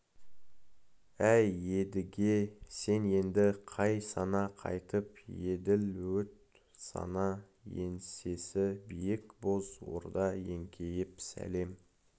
әй едіге сен енді қайт сана қайтып еділ өт сана еңсесі биік боз орда еңкейіп сәлем